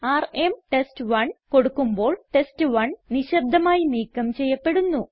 RM test one കൊടുക്കുമ്പോൾ test one നിശബ്ദമായി നീക്കം ചെയ്യപ്പെടുന്നു